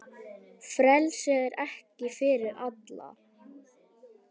Frelsi er ekki fyrir alla.